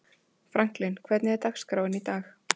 Franklin, hvernig er dagskráin í dag?